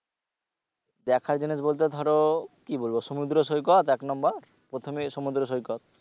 দেখার জিনিস বলতে ধরো কি বলবো সমুদ্র সৈকত এক number প্রথমে সমুদ্র সৈকত